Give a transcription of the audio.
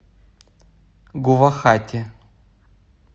гувахати